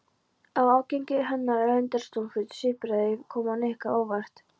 Ágengni hennar og leyndardómsfull svipbrigði komu Nikka á óvart.